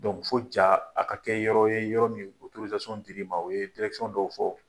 fo ja a ka kɛ yɔrɔ ye yɔrɔ min dir'i ma. O ye dɔw fɔ.